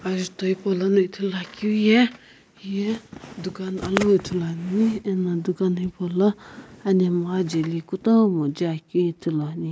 ajuto hipolono ithulu akeu ye heye dukan alu ithulu ane ano dukan hipou lo anemgha ajae li etomo jae akeu ithulu ane.